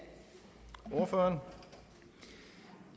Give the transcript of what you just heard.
for